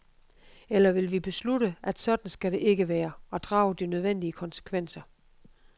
Eller vil vi beslutte, at sådan skal det ikke være, og drage de nødvendige konsekvenser?